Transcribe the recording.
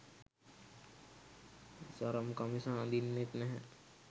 සරම් කමිස අදින්නෙත් නැහැ